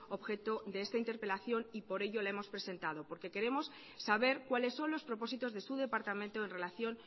objeto de esta interpelación y por ello la hemos presentado porque queremos saber cuáles son los propósitos de su departamento en relación